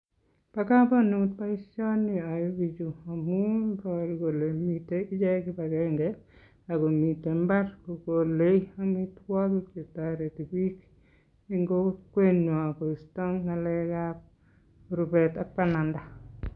Bakamanut baishoni chyae bichu amun ibaru Kole miten ichek kibagenge akomiten imbar Kole amitagik chetariti bik en Kokwenyun Kosta ngalek ab rubet ak bananda